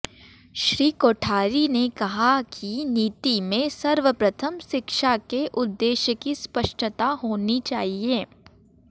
श्री कोठारी ने कहा कि नीति में सर्वप्रथम शिक्षा के उद्देश्य की स्पष्टता होनी चाहिए